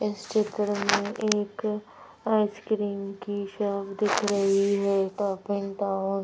इस चित्र में एक आइसक्रीम की शॉप दिख रही है टॉप एंड टाऊन ।